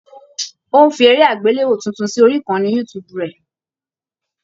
Ó ń fi eré àgbéléwò tuntun sórí ìkànnì youtube rẹ̀.